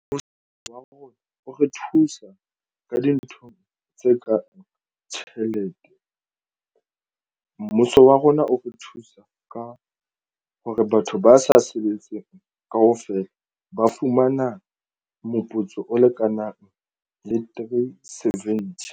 Mmuso wa rona o re thusa ka dinthong tse kang tjhelete. Mmuso wa rona o re thusa ka hore batho ba sa sebetseng kaofela ba fumana moputso o lekanang three seventy